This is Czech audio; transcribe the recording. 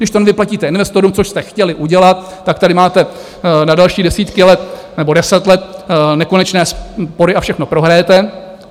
Když to nevyplatíte investorům, což jste chtěli udělat, tak tady máte na další desítky let nebo deset let nekonečné spory a všechno prohrajete.